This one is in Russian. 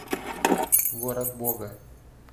город бога